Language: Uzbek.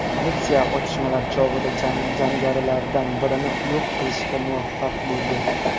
Politsiya otishmalar chog‘ida jangarilardan birini yo‘q qilishga muvaffaq bo‘ldi.